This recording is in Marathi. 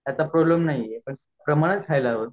असा प्रॉब्लेम नाही हाये पण प्रमाणात खायाला पाहिजेल